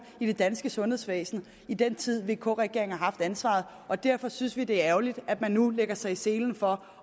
i det danske sundhedsvæsen i den tid vk regeringen har haft ansvaret og derfor synes vi det er ærgerligt at man nu lægger sig i selen for